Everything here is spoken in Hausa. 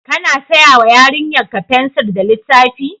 Kana saya wa yarinyarki fensir da littafi?